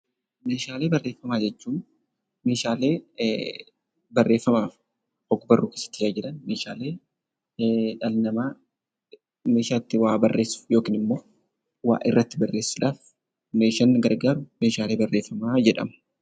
Meeshaalee barreeffamaa jechuun meeshaalee barreeffamaaf ogbarruuf itti fayyadaman ,dhalli namaa meeshaa itti waa barreessuuf yookaan immoo waa irratti barreessuudhaaf meeshaan nu gargaaru meeshaa barreeffamaa jedhama.